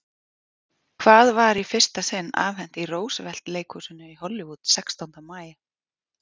Hvað var í fyrsta sinn afhent í Roosevelt-leikhúsinu í Hollywood sextánda maí?